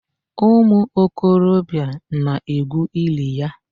Umu okorobịa na-egwu ili ya.